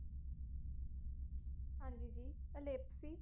ਹੰਜੀ, ਜੀ ਅਲਾਪੀ